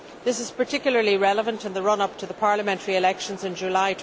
This is particularly relevant in the run up to the parliamentary elections in July